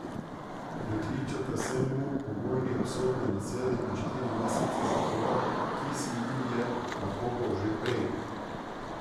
Prekličeta se mu pogojni obsodbi na sedem in na štiri mesece zapora, ki si ju je nakopal že prej.